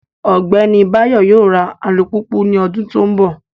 Ogbeni Bayo yoo ra alupupu ni odun to nbo